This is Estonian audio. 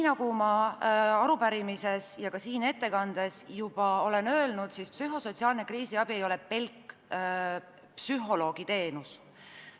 Nagu ma arupärimises ja ka siin ettekandes juba olen öelnud, psühhosotsiaalne kriisiabi ei ole pelk psühholoogi teenus.